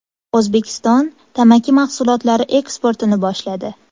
O‘zbekiston tamaki mahsulotlari eksportini boshladi.